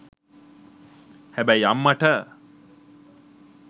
හැබැයි අම්මට.